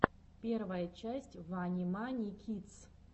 первая часть вани мани кидс